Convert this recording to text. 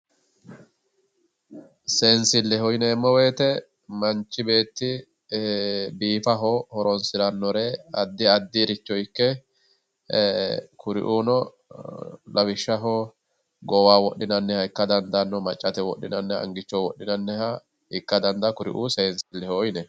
Seensilleho yineemmowoyite manchi beetti seesaho horoonsirannoha addi addiricho ikke kurino lawishshaho goowaho wodhinannire maccate wodhinayire angate wodhimanniha angichoho wodhinayiha ikkara dadaanno kuriuu seensilleho yineemmo.